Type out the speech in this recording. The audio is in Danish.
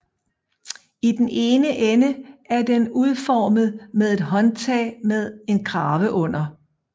I den ene ende er den udformet med et håndtag med en krave under